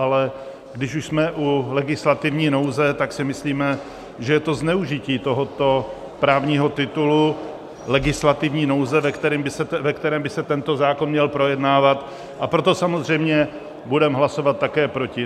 Ale když už jsme u legislativní nouze, tak si myslíme, že je to zneužití tohoto právního titulu legislativní nouze, ve kterém by se tento zákon měl projednávat, a proto samozřejmě budeme hlasovat také proti.